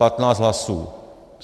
Patnáct hlasů.